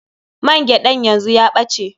Man gyaɗan yanzu ya ɓace.